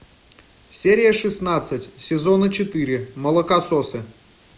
серия шестнадцать сезона четыре молокососы